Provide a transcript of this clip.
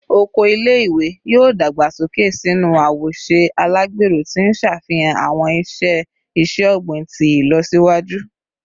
Oko ile-iwe yoo dagbasoke sinu awoṣe alagbero, ti n ṣafihan awọn iṣe iṣẹ-ogbin ti ilọsiwaju